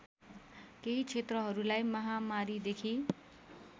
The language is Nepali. केही क्षेत्रहरूलाई महामारीदेखि